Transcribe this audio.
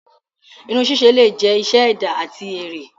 Irun sise le jẹ iṣẹ ẹda ati ere.